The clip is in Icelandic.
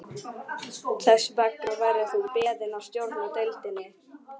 Þess vegna verður þú beðinn að stjórna deildinni